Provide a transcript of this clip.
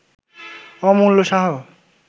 Amulya Shah